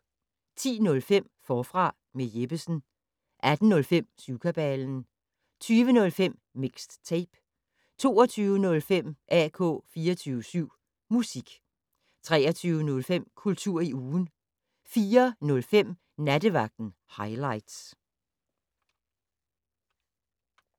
10:05: Forfra med Jeppesen 18:05: Syvkabalen 20:05: Mixed Tape 22:05: AK 24syv Musik 23:05: Kultur i ugen 04:05: Nattevagten Highligts